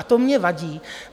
A to mně vadí.